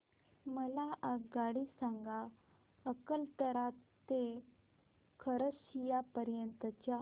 मला आगगाडी सांगा अकलतरा ते खरसिया पर्यंत च्या